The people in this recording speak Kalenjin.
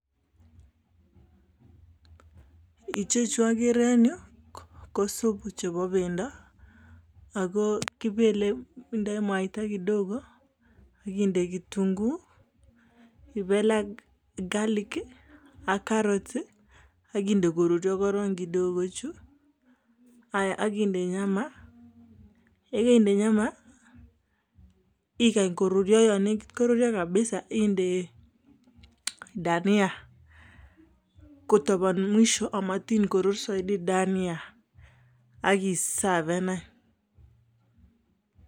Ichechu ogere en yu ko subu chebo bendo ago kebeli indoi mwaita kidogo ak inde ketunguik ak garlic ak carrots ii ak inde koruryo korong. Haiya ak inde nyama , ye keinde nyama igany koruryo, yo negit koruryo kabisa inde dhania kotobon mwisho amat ingorur soiti dania ak i safen any.